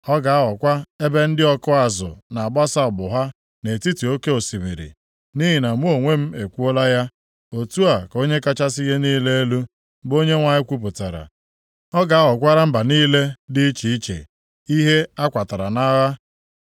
Ọ ga-aghọkwa ebe ndị ọkụ azụ na-agbasa ụgbụ ha nʼetiti oke osimiri. Nʼihi na mụ onwe m ekwuola ya. Otu a ka Onye kachasị ihe niile elu, bụ Onyenwe anyị kwupụtara. Ọ ga-aghọkwara mba niile dị iche iche ihe a kwatara nʼagha.